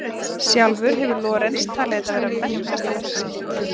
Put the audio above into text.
Sjálfur hefur Lorenz talið þetta vera merkasta verk sitt.